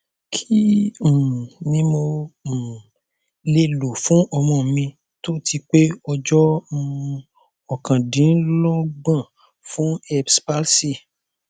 kí um ni mo um le lo fún ọmọ mi tó ti pé ọjọ um okandinlogbon fun erbs palsy